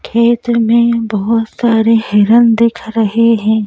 खेत में बहुत सारे हिरन दिख रहे हैं।